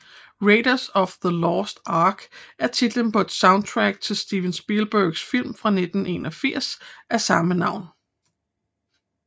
Raiders of the Lost Ark er titlen på et soundtrack til Steven Spielbegs film fra 1981 af samme navn